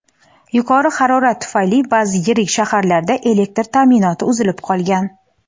yuqori harorat tufayli ba’zi yirik shaharlarda elektr ta’minoti uzilib qolgan.